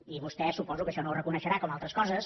i vostè suposo que això no ho reconeixerà com altres coses